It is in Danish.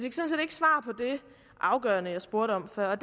afgørende jeg spurgte om før og